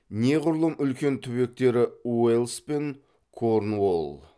неғұрлым үлкен түбектері уэльс пен корнуолл